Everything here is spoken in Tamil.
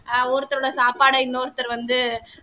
அஹ் ஒருத்தரோட சாப்பாட இன்னொருத்தர் வந்து